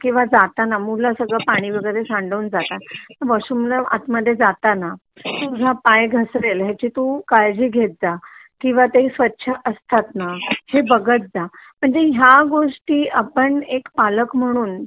किंवा जाताना मुलं सगळं पाणी वाईगरे सांडवून जातात तर वॉशरूम ला आत मध्ये जाताना पाय घासरेल ह्याची तू काळजी घेत जा किंवा ते स्वच्छ असतात ना हेबघात जा म्हणजे ह्या गोष्टी आपण एक पालक म्हणून